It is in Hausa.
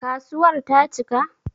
Kasuwar ta cika?